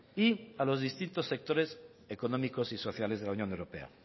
y a los distintos sectores económicos y sociales de la unión europea